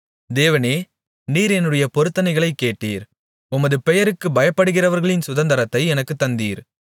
தேவனே நீர் என்னுடைய பொருத்தனைகளைக் கேட்டீர் உமது பெயருக்குப் பயப்படுகிறவர்களின் சுதந்தரத்தை எனக்குத் தந்தீர்